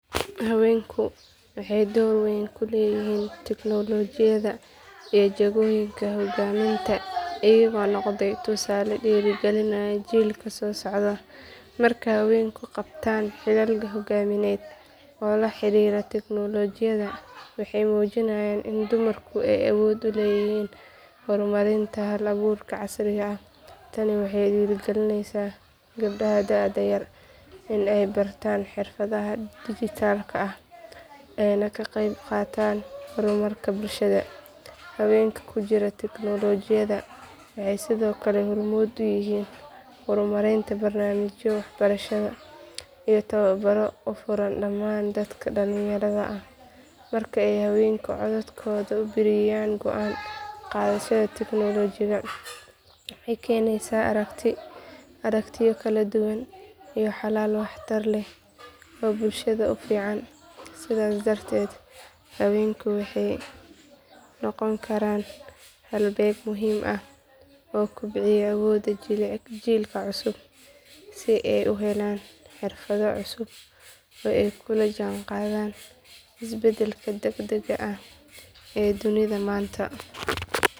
Haweenku waxay door weyn ku leeyihiin tignoolajiyada iyo jagooyinka hoggaaminta iyagoo noqday tusaale dhiirigelinaya jiilka soo socda. Markay haweenku qabtaan xilal hoggaamineed oo la xiriira tignoolajiyada waxay muujiyaan in dumarku ay awood u leeyihiin horumarinta hal abuurka casriga ah. Tani waxay dhiirigelinaysaa gabdhaha da'da yar in ay bartaan xirfadaha dhijitaalka ah ayna ka qaybqaataan horumarka bulshada. Haweenka ku jira tignoolajiyada waxay sidoo kale hormuud u yihiin horumarinta barnaamijyo waxbarasho iyo tababaro u furan dhammaan dadka dhalinyarada ah. Marka ay haweenku codkooda ku biiriyaan go'aan qaadashada tignoolajiga waxay keenaysaa aragtiyo kala duwan iyo xalal waxtar leh oo bulshada u fiican. Sidaas darteed haweenku waxay noqon karaan halbeeg muhiim ah oo kobciya awoodda jiilka cusub si ay u helaan xirfado cusub oo ay kula jaanqaadaan isbeddelka degdegga ah ee dunida maanta.